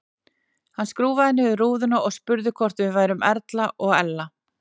Hann skrúfaði niður rúðuna og spurði hvort við værum Erla og Ella.